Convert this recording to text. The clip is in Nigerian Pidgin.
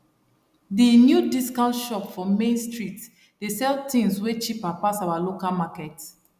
di new discount shop for main street dey sell things way cheaper pass our local market